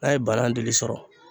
N'a ye banan dili sɔrɔ